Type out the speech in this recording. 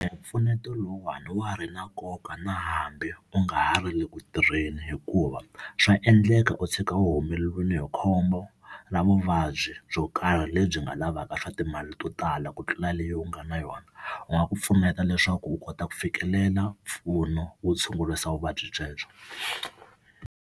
Hi mpfuneto lowuwani wa ha ri na nkoka na hambi u nga ha ri le ku tirheni, hikuva swa endleka u tshuka u humelele hi khombo ra vuvabyi byo karhi karhi lebyi nga lavaka swa timali to tala ku tlula leyi u nga na yona. U nga ku pfuneta leswaku u kota ku fikelela mpfuno wo tshungurisa vuvabyi byebyo.